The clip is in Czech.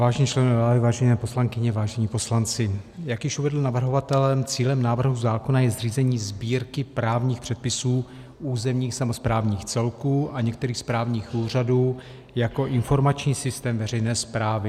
Vážení členové vlády, vážené poslankyně, vážení poslanci, jak již uvedl navrhovatel, cílem návrhu zákona je zřízení Sbírky právních předpisů územních samosprávných celků a některých správních úřadů jako informační systém veřejné správy.